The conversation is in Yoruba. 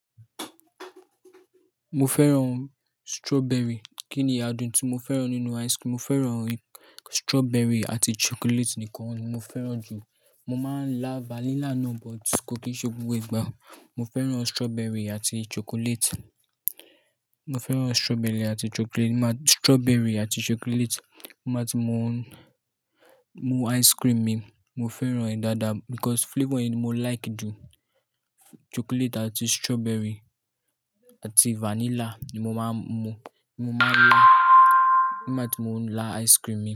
Mo fẹ́ràn strawberry. Kí ni adùn tí mo fẹ́ràn nínú ice cream? Mo fẹ́ràn strawberry àti chocolate nìkan. Mo fẹ́ràn jù. Mo máa ń lá vanilla náà but kò kí ṣe gbogbo ìgbà. Mo fẹ́ràn strawberry àti chocolate. Mo fẹ́ràn strawberry àti chocolate. Strawberry àti chocolate ni màá ti mú, mú ice cream mi. Mo fẹ́ràn rẹ̀ dáadáa because flavour ni mo like jù. Chocolate àti strawberry àti vanilla ni mo máa ń mú. Mo máa ń lá, nigba ti mo lá ice cream mi.